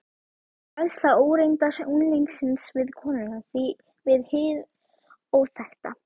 Það var hræðsla óreynda unglingsins við konuna, við hið óþekkta.